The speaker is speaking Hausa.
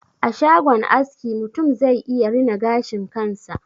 A shagon aski, mutum zai iya rina gashin kansa.